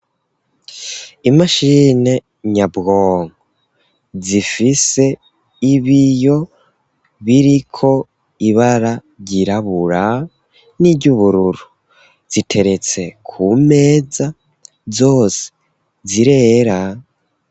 Imashini nyabwonko zifise ibiyo biriko ibara ryirabura n'iry'ubururu, ziteretse ku meza zose zirera.